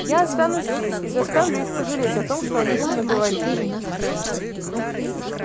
я останусь здесь и заставлю их пожалеть о том что они тут наговорили